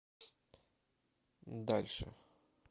дальше